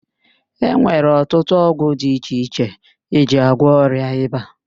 E nwere ọtụtụ ọgwụ di iche iche eji agwọ ọrịa ịba.